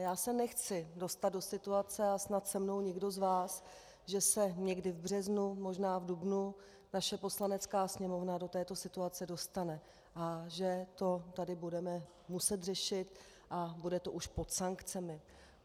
Já se nechci dostat do situace a snad se mnou nikdo z vás, že se někdy v březnu, možná v dubnu naše Poslanecká sněmovna do této situace dostane a že to tady budeme muset řešit a bude to už pod sankcemi.